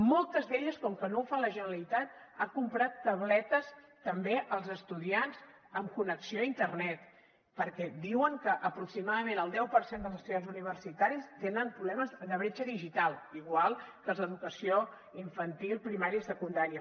moltes d’elles com que no ho fa la generalitat han comprat tabletes també als estudiants amb connexió a internet perquè diuen que aproximadament el deu per cent dels estudiants universitaris tenen problemes de bretxa digital igual que els d’educació infantil primària i secundària